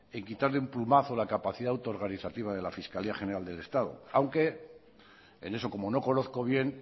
en quitar de un plumazo la capacidad autorganizativa de la fiscalia general del estado aunque en eso como no conozco bien